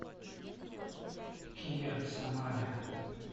киа в самаре